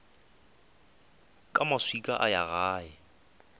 ka maswika a ya gae